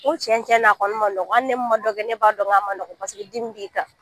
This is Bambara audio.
N ko cɛn cɛn na , a kɔni man nɔgɔ. Hali ne mun man dɔ kɛ, ne b'a dɔn k'a man nɔgɔ paseke dimi b'i kan.